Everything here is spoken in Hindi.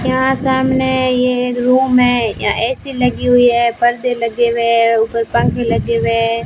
यहां सामने यह एक रूम है यहां ए_सी लगी हुई है पर्दे लगे हुए है ऊपर पंखे लगे हुए है।